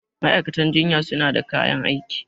ma'aikatan jinya suna da kayan aiki